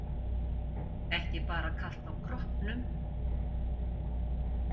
Guð, hann hlýtur að hafa fengið eitraða pulsu, einsog maðurinn sem dó.